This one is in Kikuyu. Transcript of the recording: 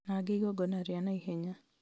na angĩ igongona rĩa naihenya